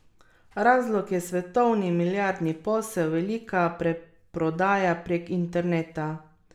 Razlog je svetovni milijardni posel, velika preprodaja prek interneta ...